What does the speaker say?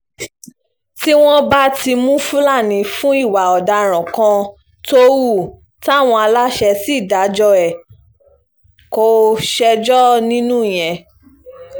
tí wọ́n bá mú fúlàní fún ìwà ọ̀daràn kan tó hù táwọn aláṣẹ sì dájọ́ ẹ̀ kò ṣẹjọ́ nínú ìyẹn